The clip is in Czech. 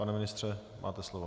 Pane ministře, máte slovo.